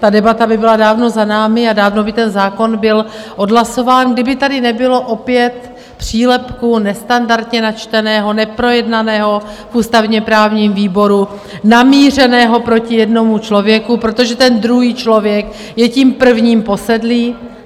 Ta debata by byla dávno za námi a dávno by ten zákon byl odhlasován, kdyby tady nebylo opět přílepku, nestandardně načteného, neprojednaného v ústavně-právním výboru, namířeného proti jednomu člověku, protože ten druhý člověk je tím prvním posedlý.